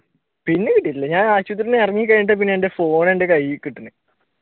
പിന്നെ കീട്ടിട്ടില്ല ഞാൻ ആശുപത്രിയിൽ നിന്ന് ഇറങ്ങി കഴിഞ്ഞിട്ടാണ് പിന്നെ എന്റെ phone എന്റെ കയ്യിൽ കിട്ടണത്.